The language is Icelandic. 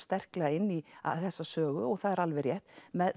sterklega inn í þessa sögu og það er alveg rétt